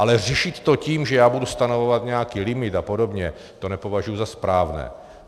Ale řešit to tím, že já budu stanovovat nějaký limit a podobně, to nepovažuji za správné.